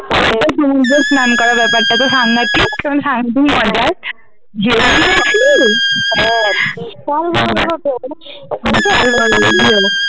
সমূদ্রে স্নান করা ব্যাপারটাতো সাংঘাতিক